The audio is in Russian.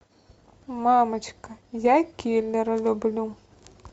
мамочка я киллера люблю